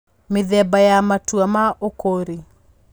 Mĩthemba ya Matua ma Ũkũũri: